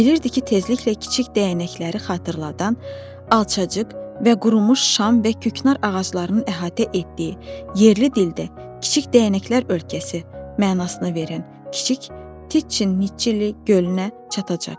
Bilirdi ki tezliklə kiçik dəyənəkləri xatırladan, alçacıq və qurumuş şam və küknar ağaclarının əhatə etdiyi, yerli dildə “kiçik dəyənəklər ölkəsi” mənasını verən kiçik Titçin-nitçili gölünə çatacaq.